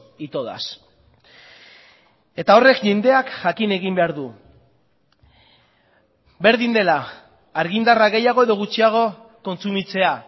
y todas eta horrek jendeak jakin egin behar du berdin dela argindarra gehiago edo gutxiago kontsumitzea